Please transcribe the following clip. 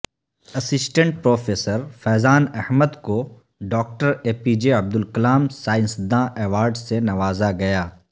assistant professor Faizan Ahmed کو doctor A P J Abdul Kalam سائنسداں award سے نوازا گیا